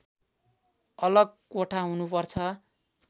अलग कोठा हुनुपर्छ